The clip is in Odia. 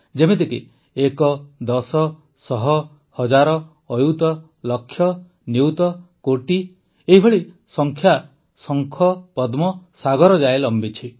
ଯେମିତିକି ଏକ ଦଶ ଶହ ହଜାର ଅୟୁତ ଲକ୍ଷ ନିୟୂତ କୋଟି ଏହିଭଳି ଏହି ସଂଖ୍ୟା ଶଙ୍ଖ ପଦ୍ମ ସାଗର ଯାଏ ଲମ୍ବିଛି